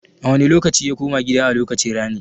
A wane lokaci ya koma gida a lokacin rani?